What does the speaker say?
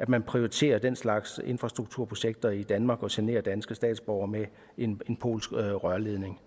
at man prioriterer den slags infrastrukturprojekter i danmark og generer danske statsborgere med en polsk rørledning